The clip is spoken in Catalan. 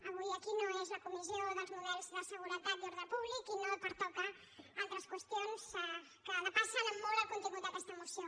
avui aquí no és la comissió dels models de seguretat i ordre públic i no pertoquen altres qüestions que depassen en molt el contingut d’aquesta moció